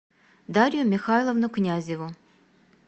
дарью михайловну князеву